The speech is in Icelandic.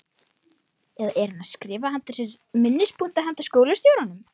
Eða er hann að skrifa hjá sér minnispunkta handa skólastjóranum?